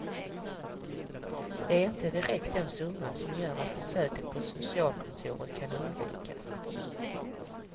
Det är inte direkt den summa som gör att besöket på socialkontoret kan undvikas.